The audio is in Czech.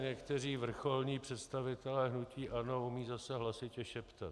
Někteří vrcholní představitelé hnutí ANO umějí zase hlasitě šeptat.